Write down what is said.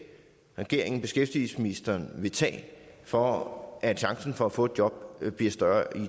regeringen og beskæftigelsesministeren vil tage for at chancen for at få et job bliver større